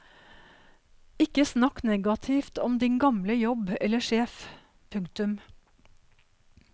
Ikke snakk negativt om din gamle jobb eller sjef. punktum